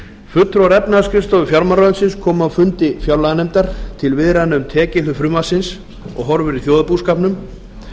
fulltrúar efnahagsskrifstofu fjármálaráðuneytisins komu á fundi fjárlaganefndar til viðræðna um tekjuhlið frumvarpsins og horfur í þjóðarbúskapnum